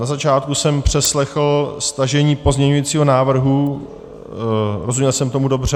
Na začátku jsem přeslechl stažení pozměňovacího návrhu - rozuměl jsem tomu dobře?